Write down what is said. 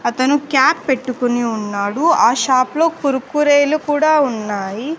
అతను క్యాప్ పెట్టుకుని ఉన్నాడు ఆ షాప్ లో కురుకురు లు కూడా ఉన్నాయి.